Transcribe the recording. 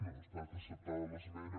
no ha estat acceptada l’esmena